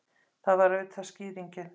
Það var auðvitað skýringin!